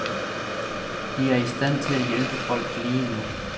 De er i stand til at hjælpe folk lige nu.